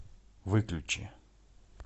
выключи